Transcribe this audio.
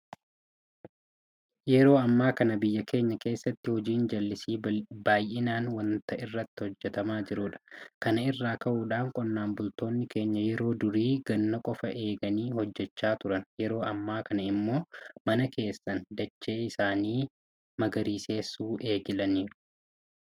Yeroo ammaa kana biyya keenya keessatti hojiin jallisii bal'inaan waanta irratti hojjetamaa jirudha. Kana irraa ka'uudhaan qonnaan bultoonni keenya yeroo durii ganna qofa eeganii hojjechaa turan yeroo ammaa kana immoo mana keessan dachee isaanii magariisessuu eegalaniiru.